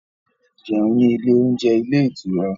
Jẹun ní ilé oúnjẹ ilé ìtura